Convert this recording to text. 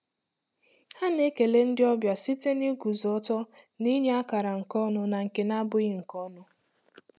Ha na-ekele ndị ọbịa site n'iguzo ọtọ na inye akara nke ọnụ na nke na-abụghị nke ọnụ.